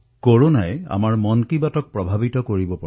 কৰোনাৰ প্ৰভাৱৰ দ্বাৰা আমাৰ মন কী বাতো প্ৰভাৱান্বিত হৈছে